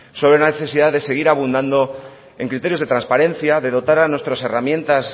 sobre la necesidad de seguir abundando en criterios de transparencia de dotar a nuestras herramientas